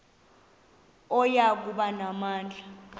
oya kuba namandla